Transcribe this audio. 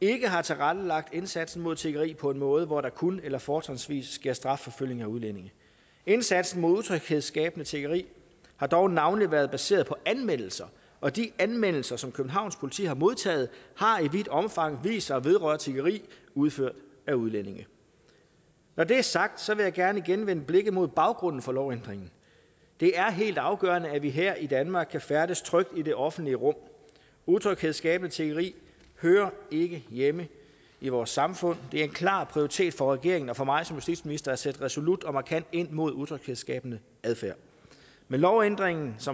ikke har tilrettelagt indsatsen mod tiggeri på en måde hvor der kun eller fortrinsvis sker strafforfølgning af udlændinge indsatsen mod utryghedsskabende tiggeri har dog navnlig været baseret på anmeldelser og de anmeldelser som københavns politi har modtaget har i vidt omfang vist sig at vedrøre tiggeri udført af udlændinge når det er sagt vil jeg gerne igen vende blikket mod baggrunden for lovændringen det er helt afgørende at vi her i danmark kan færdes trygt i det offentlige rum utryghedsskabende tiggeri hører ikke hjemme i vores samfund det er en klar prioritet for regeringen og for mig som justitsminister at sætte resolut og markant ind imod utryghedsskabende adfærd med lovændringen som